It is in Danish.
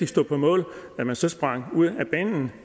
stå på mål at man så sprang ud af banen